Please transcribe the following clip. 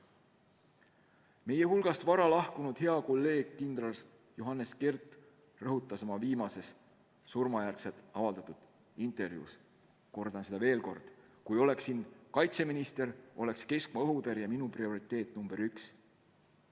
Nagu juba öeldud, meie hulgast vara lahkunud hea kolleeg kindral Johannes Kert rõhutas oma viimases, pärast tema surma avaldatud intervjuus: kui mina oleksin kaitseminister, oleks keskmaa-õhutõrje minu prioriteet number üks.